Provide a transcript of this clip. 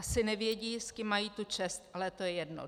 Asi nevědí, s kým mají tu čest, ale to je jedno.